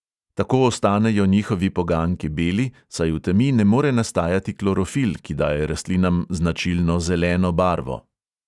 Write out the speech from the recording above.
Tako ostanejo njihovi poganjki beli, saj v temi ne more nastajati klorofil, ki daje rastlinam značilno zeleno barvo.